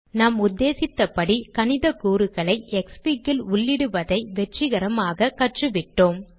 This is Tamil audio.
நாம் உத்தேசித்த படி கணித கூறுகளை க்ஸ்ஃபிக் ல் உள்ளிடுவதை வெற்றிகரமாக கற்றுவிட்டோம்